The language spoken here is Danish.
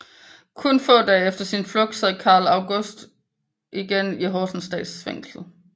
Kun få dage efter sin flugt sad Carl August igen i Horsens Statsfængsel